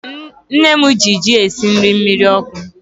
Nne mụ gị jị esị jị mmiri ọkụ